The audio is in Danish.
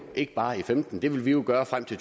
ikke bare i og femten det vil vi jo gøre frem til